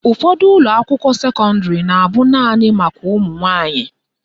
Ụfọdụ ụlọakwụkwọ sekọndịrị na abụ naanị maka ụmụnwanyị